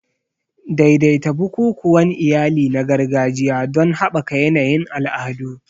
Daidaita bukukuwan iyali na gargajiya don haɓaka yanayin al'adu.